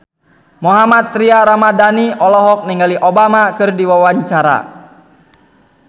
Mohammad Tria Ramadhani olohok ningali Obama keur diwawancara